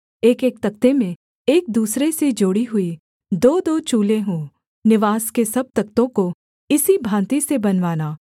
एकएक तख्ते में एक दूसरे से जोड़ी हुई दोदो चूलें हों निवास के सब तख्तों को इसी भाँति से बनवाना